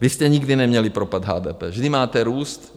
Vy jste nikdy neměli propad HDP, vždy máte růst.